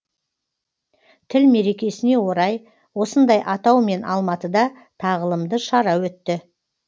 тіл мерекесіне орай осындай атаумен алматыда тағылымды шара өтті